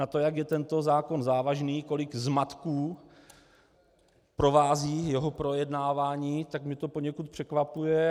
Na to, jak je tento zákon závažný, kolik zmatků provází jeho projednávání, tak mě to poněkud překvapuje.